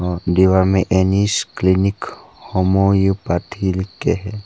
आह दिवाल पे NS clinic homeopathy लिख के है।